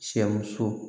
Cɛmuso